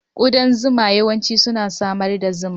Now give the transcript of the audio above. Kudan zuma yawanci suna samar da zuma.